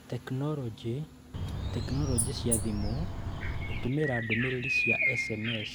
Tekinoronjĩ: Tekinoronjĩ cia thimũ / Gũtũmĩra ndũmĩrĩri cia SMS